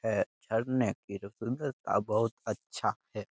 है। झरने की तो सुंदरता बहुत अच्छा है।